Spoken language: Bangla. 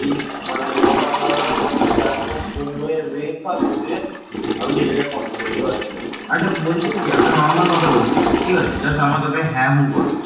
এই অঞ্চলের একটি বড় অংশ সুদীর্ঘ সময় ধরে এভাবেই স্থায়ী